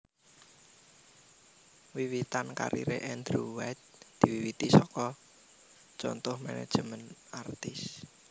Wiwitan kariré Andrew White diwiwiti saka Contoh Management Artist